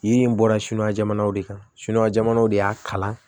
Yiri in bɔra suɲɛn jamana de kan sukora jamanaw de y'a kalan